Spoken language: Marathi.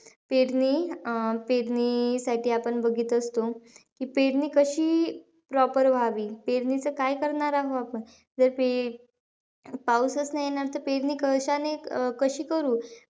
पेरणी अं पेरणीसाठी आपण बघीत असतो. की पेरणी कशी proper व्हावी? पेरणीचं काय करणार आहो आपण? जर पे पाऊसचं नाही येणार तर पेरणी कशाने कशी करू?